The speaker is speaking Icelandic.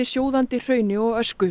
sjóðandi hrauni og ösku